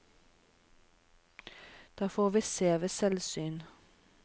Det får vi se ved selvsyn.